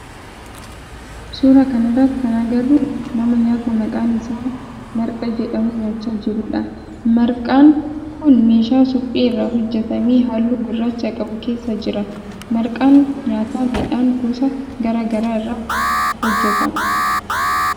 Suuraa kana irratti kan agarru nama nyaata maqaan isaa marqaa jedhamu nyaachaa jirudha. Marqaan kun meeshaa suphee irraa hojjetame halluu gurraacha qabu keessa jira. Marqaan nyaata midhaan gosa garaa garaa irraa hojjetama.